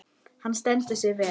Hann stendur sig vel.